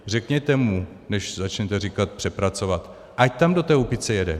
Řekněte mu, než začnete říkat přepracovat, ať tam do té Úpice jede.